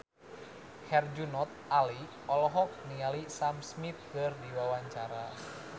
Herjunot Ali olohok ningali Sam Smith keur diwawancara